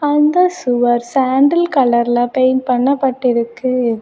அந்த சுவர் சாண்டல் கலர்ல பெயிண்ட் பண்ண பட்டிருக்கு.